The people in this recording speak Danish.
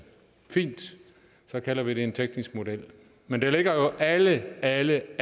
fint og så kalder vi det en teknisk model men der ligger jo alle alle